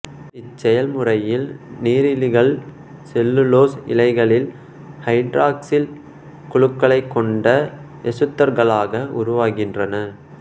இச்செயல் முறையில் நீரிலிகள் செல்லுலோசு இழைகளில் ஐதராக்சில் குழுக்களைக் கொண்ட எசுத்தர்களாக உருவாகின்றன